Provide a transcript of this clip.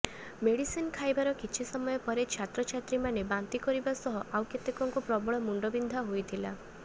medicine ଖାଇବାର କିଛି ସମୟ ପରେ ଛାତ୍ରଛାତ୍ରୀମାନେ ବାନ୍ତି କରିବା ସହ ଆଉ କେତେକଙ୍କୁ ପ୍ରବଳ ମୁଣ୍ଡବିନ୍ଧା ହୋଇଥିଲା